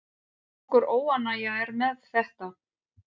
Nokkur óánægja er með þetta.